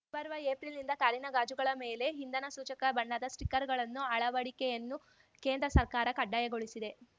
ಮುಂಬರುವ ಏಪ್ರಿಲ್‌ನಿಂದ ಕಾರಿನ ಗಾಜುಗಳ ಮೇಲೆ ಇಂಧನ ಸೂಚಕ ಬಣ್ಣದ ಸ್ಟಿಕ್ಕರ್‌ಗಳ ಅಳವಡಿಕೆಯನ್ನು ಕೇಂದ್ರ ಸರ್ಕಾರ ಕಡ್ಡಾಯಗೊಳಿಸಿದೆ